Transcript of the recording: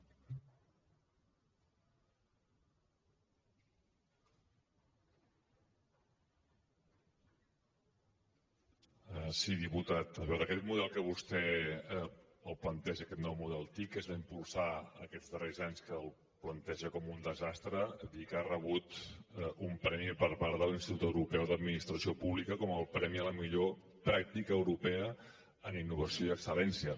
sí diputat però aquest model que vostè planteja aquest nou model tic que es va impulsar aquests darrers anys que el planteja com un desastre dir que ha rebut un premi per part de l’institut europeu d’administració pública com el premi a la millor pràctica europea en innovació i excel·lència